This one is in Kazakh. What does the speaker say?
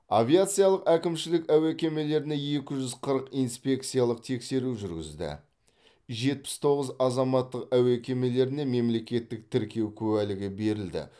авиациялық әкімшілік әуе кемелеріне екі жүз қырық инспекциялық тексеру жүргізді жетпіс тоғыз азаматтық әуе кемелеріне мемлекеттік тіркеу куәлігі берілді